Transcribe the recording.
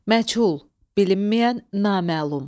Məchul – bilinməyən, naməlum.